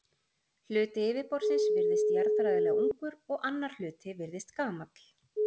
Hluti yfirborðsins virðist jarðfræðilega ungur og annar hluti virðist gamall.